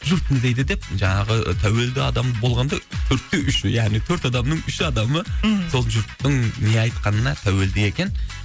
жұрт не дейді деп жаңағы тәуелді адам болғанда төртте үш яғни төрт адамның үш адамы мхм сол жұрттың не айтқанына тәуелді екен